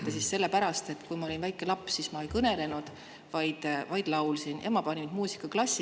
Aga seda sellepärast, et kui ma olin väike laps, siis ma ei kõnelenud, vaid laulsin, ja ema pani mind muusikaklassi.